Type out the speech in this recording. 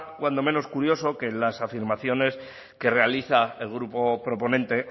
cuando menos curioso que en las afirmaciones que realiza el grupo proponente